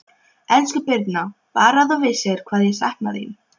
Elsku Birna, Bara að þú vissir hvað ég sakna þín.